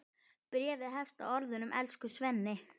Bréfið hefst á orðunum Elsku Svenni!